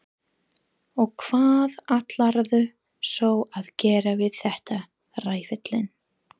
Og hvað ætlarðu svo að gera við þetta, ræfillinn?